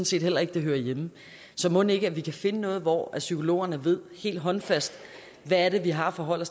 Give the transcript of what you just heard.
set heller ikke det hører hjemme så mon ikke at vi kan finde noget hvor psykologerne ved helt håndfast hvad det er de har at forholde